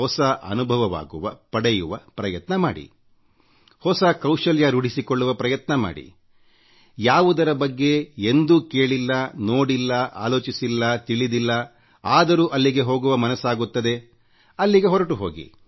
ಹೊಸ ಅನುಭವಪಡೆಯುವ ಪ್ರಯತ್ನ ಮಾಡಿ ಹೊಸ ಕೌಶಲ್ಯ ರೂಢಿಸಿಕೊಳ್ಳುವ ಪ್ರಯತ್ನ ಮಾಡಿ ಯಾವುದರ ಬಗ್ಗೆ ನೀವು ಕೇಳಿಲ್ಲವೋ ನೋಡಿಲ್ಲ ಆಲೋಚಿಸಿಲ್ಲವೋತಿಳಿದಿಲ್ಲವೋ ಅಂಥ ಕಡೆಗೆ ಹೋಗುವ ಮನಸ್ಸಾಗುತ್ತದೆ ಅಲ್ಲಿಗೆ ಹೋಗಿ